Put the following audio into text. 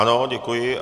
Ano, děkuji.